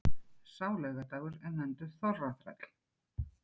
Sá laugardagur er nefndur þorraþræll.